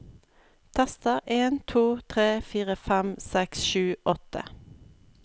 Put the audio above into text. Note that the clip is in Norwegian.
Tester en to tre fire fem seks sju åtte